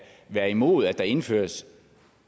være imod at der indføres